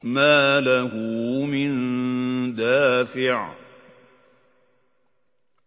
مَّا لَهُ مِن دَافِعٍ